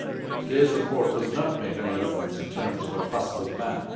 Today's report does not make any reference in terms of a possible ban.